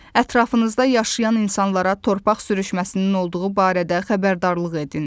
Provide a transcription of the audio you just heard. Ətrafınızda yaşayan insanlara torpaq sürüşməsinin olduğu barədə xəbərdarlıq edin.